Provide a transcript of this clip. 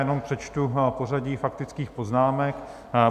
Jenom přečtu pořadí faktických poznámek.